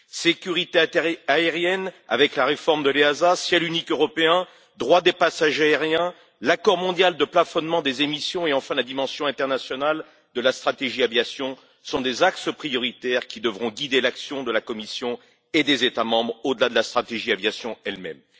Sécurité aérienne, avec la réforme de l'AESA, ciel unique européen, droits des passagers aériens, l'accord mondial de plafonnement des émissions et, enfin, la dimension internationale de la stratégie aviation sont des axes prioritaires qui devront guider l'action de la Commission et des États membres au delà de la stratégie de l'aviation elle même.